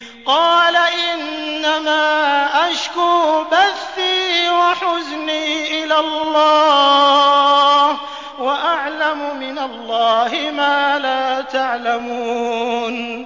قَالَ إِنَّمَا أَشْكُو بَثِّي وَحُزْنِي إِلَى اللَّهِ وَأَعْلَمُ مِنَ اللَّهِ مَا لَا تَعْلَمُونَ